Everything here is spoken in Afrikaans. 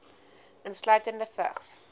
insluitende vigs